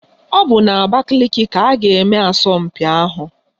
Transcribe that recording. Ọ bụ n'Abakaliki ka a ga-eme asọmpi ahụ.